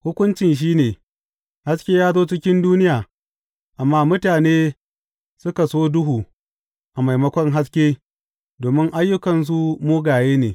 Hukuncin shi ne, Haske ya zo cikin duniya, amma mutane suka so duhu a maimakon haske domin ayyukansu mugaye ne.